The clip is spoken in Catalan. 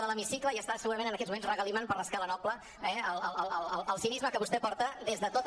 de l’hemicicle i està segurament en aquests moments regalimant per l’escala noble eh el cinisme que vostè porta des de tota